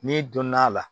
N'i donn'a la